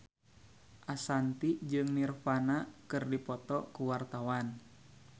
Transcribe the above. Ashanti jeung Nirvana keur dipoto ku wartawan